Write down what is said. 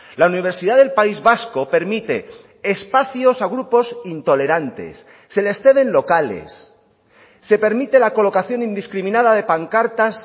la universidad del país vasco permite espacios a grupos intolerantes se les ceden locales se permite la colocación indiscriminada de pancartas